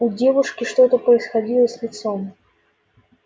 у девушки что-то происходило с лицом